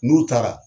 N'u taara